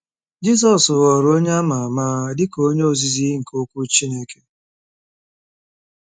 Jizọs ghọrọ onye a ma ama dị ka onye ozizi nke Okwu Chineke.